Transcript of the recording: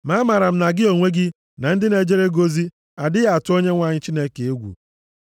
Ma amaara m na gị onwe gị na ndị na-ejere gị ozi adịghị atụ Onyenwe anyị Chineke egwu.”